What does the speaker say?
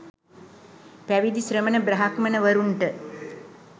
පැවිදි ශ්‍රමණ බ්‍රාහ්මණවරුන්ට